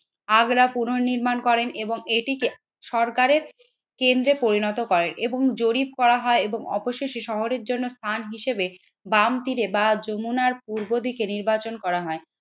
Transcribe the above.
আগ্রা পূর্ণ নির্মাণ করেন এবং এটিকে সরকারের কেন্দ্রে পরিণত করে এবং জরিপ করা হয় এবং অবশ্যই সে শহরের জন্য স্থান হিসেবে বাম তীরে বা যমুনার পূর্ব দিকে নির্বাচন করা হয়।